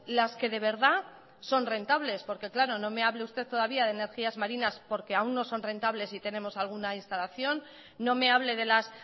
las que de verdad son rentables porque claro no me hable usted todavía de energías marinas porque aún no son rentables y tenemos alguna instalación no me hable de las